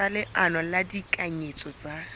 sa leano la ditekanyetso tsa